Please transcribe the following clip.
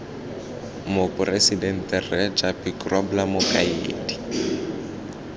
moporesidente rre japie grobler mokaedi